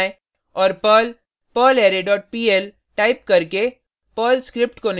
तो टर्मिनल पर जाएँ और perl perlarray dot pl